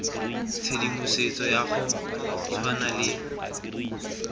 tshedimosetso ya go tshwana le